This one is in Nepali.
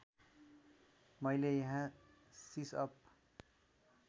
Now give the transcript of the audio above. मैले यहाँ सिसअप